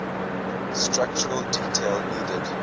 structural details needed